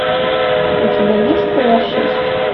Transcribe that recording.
у тебя есть пила шесть